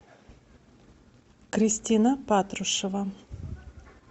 кристина патрушева